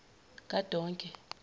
kadonke